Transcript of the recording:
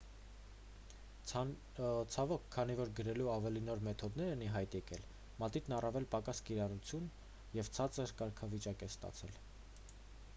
ցավոք քանի որ գրելու ավելի նոր մեթոդներ են ի հայտ եկել մատիտն առավել պակաս կիրառություն և ցածր կարգավիճակ է ստացել